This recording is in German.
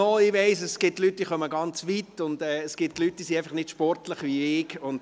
Ich weiss, es gibt Personen, die von weit herkommen, und es gibt Leute, die nicht sportlich sind, wie ich.